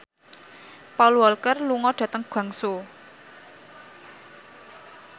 Paul Walker lunga dhateng Guangzhou